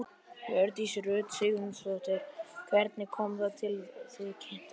Hjördís Rut Sigurjónsdóttir: Hvernig kom það til að þið kynntust?